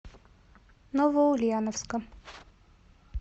новоульяновска